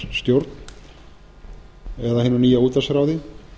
útvarpsstjórn eða hinu nýja útvarpsráði